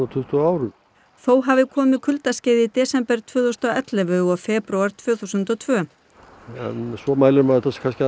tuttugu árum þó hafi komið kuldaskeið í desember tvö þúsund og ellefu og febrúar tvö þúsund og tvö svo mælir maður þetta kannski